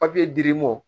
dir'i mɔ